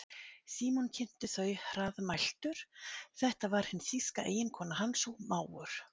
Símon kynnti þau hraðmæltur, þetta var hin þýska eiginkona hans og mágur.